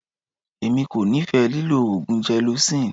Èmi kò nífẹ̀ẹ́ lílọ oògùn gelocin.